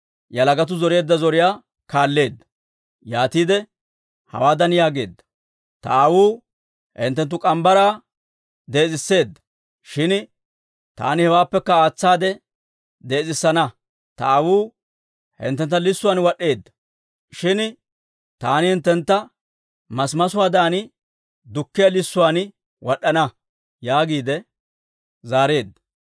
yalagatuu zoreedda zoriyaa kaalleedda. Yaatiide hawaadan yaageedda; «Ta aawuu hinttenttu morgge mitsaa dees'etseedda; shin taani hewaappekka aatsaade dees'etsana. Ta aawuu hinttentta lissuwaan wad'd'eedda; shin taani hinttentta masimasuwaadan dukkiyaa lissuwaan wad'd'ana» yaagiide zaareedda.